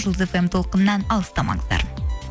жұлдыз фм толқынынан алыстамаңыздар